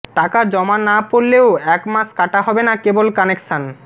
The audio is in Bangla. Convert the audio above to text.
টাকা জমা না পড়লেও একমাস কাটা হবে না কেবল কানেকশন